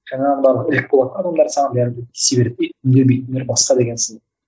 жаңағыдан ілік болатын адамдар саны яғни тисе бермейді үндемейтіндер басқа деген сынды